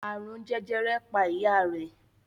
Àrùn jẹjẹrẹ pa ìyá rẹ̀